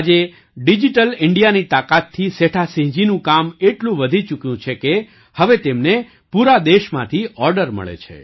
આજે ડિજિટલ ઇન્ડિયાની તાકાતથી સેઠાસિંહજીનું કામ એટલું વધી ચૂક્યું છે કે હવે તેમને પૂરા દેશમાંથી ઑર્ડર મળે છે